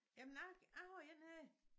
Jamen jeg jeg har en her